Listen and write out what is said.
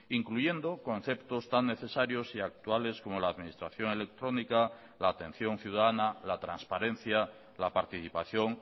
incluyendo conceptos tan necesarios y actuales como la administración electrónica la atención ciudadana la transparencia la participación